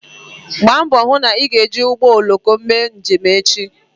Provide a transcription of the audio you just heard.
Gbaa mbọ hụ na ị ga-eji ụgbọ oloko mee njem echi